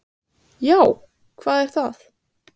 SÉRA SIGURÐUR: Já, hvað er það?